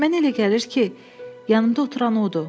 Mənə elə gəlir ki, yanımda oturan odur.